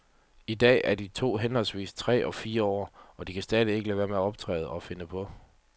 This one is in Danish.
I dag er de to henholdsvis tre og fire år, og de kan stadig ikke lade være med at optræde og finde på.